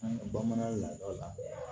An ka bamanan lada la